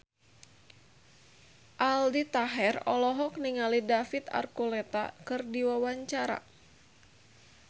Aldi Taher olohok ningali David Archuletta keur diwawancara